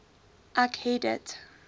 ek het dit